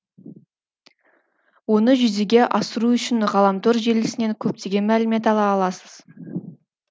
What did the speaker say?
оны жүзеге асыру үшін ғаламтор желісінен көптеген мәлімет ала аласыз